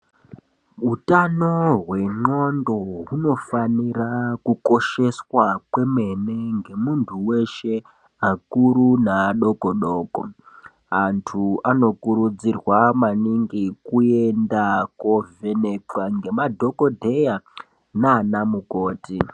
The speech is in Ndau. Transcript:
Utano hwendwondo hunofana kukosheswa kwemene ngemuntu weshe akuru neadoko doko antu anokurudzirwa maningi kuenda kunovhenekwa ngemadhokodheya nanamukoti.